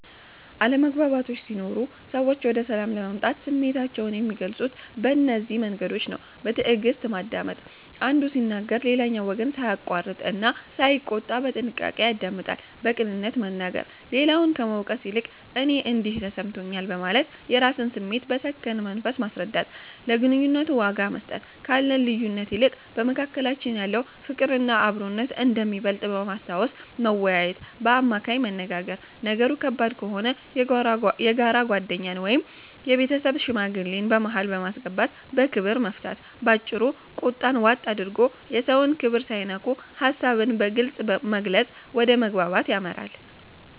አለመግባባቶች ሲኖሩ ሰዎች ወደ ሰላም ለመምጣት ስሜታቸውን የሚገልጹት በእነዚህ መንገዶች ነው፦ በትዕግስት ማዳመጥ፦ አንዱ ሲናገር ሌላኛው ወገን ሳይቆርጥ እና ሳይቆጣ በጥንቃቄ ያደምጣል። በቅንነት መናገር፦ ሌላውን ከመውቀስ ይልቅ "እኔ እንዲህ ተሰምቶኛል" በማለት የራስን ስሜት በሰከነ መንፈስ ማስረዳት። ለግንኙነቱ ዋጋ መስጠት፦ ካለን ልዩነት ይልቅ በመካከላችን ያለው ፍቅርና አብሮነት እንደሚበልጥ በማስታወስ መወያየት። በአማካይ መነጋገር፦ ነገሩ ከባድ ከሆነ የጋራ ጓደኛን ወይም የቤተሰብ ሽማግሌን በመሃል በማስገባት በክብር መፍታት። ባጭሩ፤ ቁጣን ዋጥ አድርጎ፣ የሰውን ክብር ሳይነኩ ሐሳብን በግልጽ መግለጽ ወደ መግባባት ያመራል።